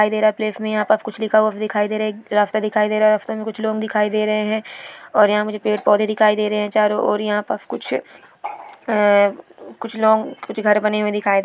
रास्ता दिखाई दे रहा रास्ता में कुछ लोग दिखाई दे रहे हैं और यहां मुझे पेड़-पौधे दिखाई दे रहे हैं चारों और यहां पर कुछ आ कुछ लॉन्ग कुछ घर बने हुए दिखाएं--